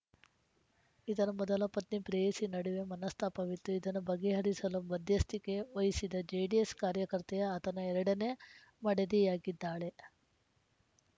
ಇದರ ಮೊದಲ ಪತ್ನಿ ಪ್ರೇಯಸಿ ನಡುವೆ ಮನಸ್ತಾಪವಿತ್ತು ಇದನ ಬಗೆಹರಿಸಲು ಮಧ್ಯಸ್ಥಿಕೆ ವಹಿಸಿದ ಜೆಡಿಎಸ್‌ ಕಾರ್ಯಕರ್ತೆಯ ಆತನ ಎರಡನೇ ಮಡದಿಯಾಗಿದ್ದಾಳೆ